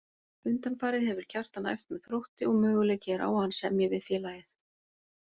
Undanfarið hefur Kjartan æft með Þrótti og möguleiki er á að hann semji við félagið.